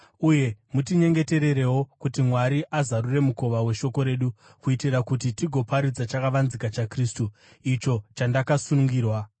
Uye mutinyengetererewo kuti Mwari azarure mukova weshoko redu, kuitira kuti tigoparidza chakavanzika chaKristu, icho chandakasungirwa.